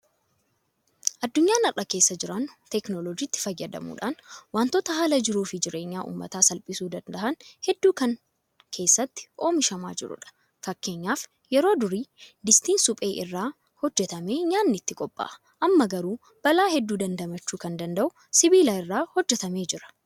Addunyaan har'a keessa jiraannu Teekinooloojiitti fayyadamuudhaan waantota haala jiruufi jireenya uummataa salphisuu danda'an hedduun kan keessatti oomishamaa jirudha. Fakkeenyaaf yeroo durii Distiin suphee irraa hojjetamee nyaanni itti qophaa'a. Amma garuu balaa hedduu damdamachuu kan danda'u sibiila irraa hojjetamee jira.